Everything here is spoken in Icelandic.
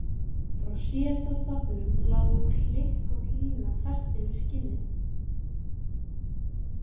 Frá síðasta stafnum lá hlykkjótt lína þvert yfir skinnið.